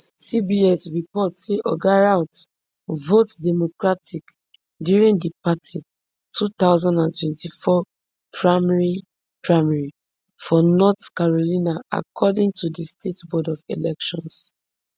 cbs report say oga routh vote democratic during di party two thousand and twenty-four primary primary for north carolina according to di state board of elections